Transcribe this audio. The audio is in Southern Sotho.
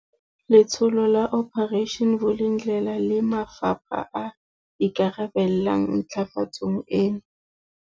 Letsholo la Operation Vulindlela le mafapha a ikarabellang ntlafatsong tsena.